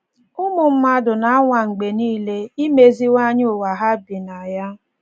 Ụmụ mmadụ na - anwa mgbe nile imeziwanye ụ́wa ha bi na ya.